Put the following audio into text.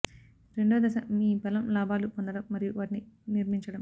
రెండవ దశ మీ బలం లాభాలు పొందడం మరియు వాటిని నిర్మించడం